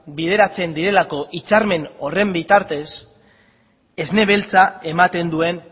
bideratzen direlako hitzarmen horren bitartez esne beltza ematen duen